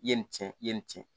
I ye nin tiɲɛ i ye nin tiɲɛ